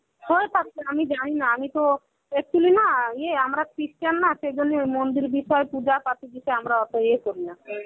হয়ে থাকতে আমি জানিনা. আমিতো actually না ইয়ে আমরা christian না সেইজন্যে ওই মন্দির ভিতর পূজা পদ্ধতিতে আমরা অত ইয়ে করিনা.